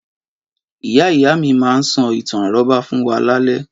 Ìyá ìyá mi máa ń sọ ìtàn àrọ́bá fún wa lálaalẹ́.